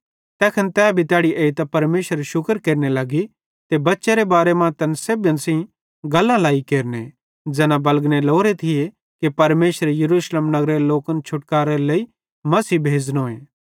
तैखन तै भी तैड़ी एइतां परमेशरेरू शुक्र केरने लगी ते बच्चेरे बारे मां तैन सेब्भन सेइं गल्लां लाई केरने ज़ैना बलगने लोरे थिये कि परमेशरे यरूशलेमे नगरेरे लोकन छुटानेरे लेइ मसीह भेज़नोए